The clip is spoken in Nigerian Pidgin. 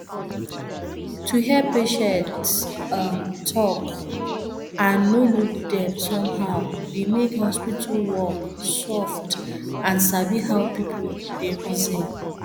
to hear patient um talk and no look dem somehow dey make hospital work soft and sabi how person dey reason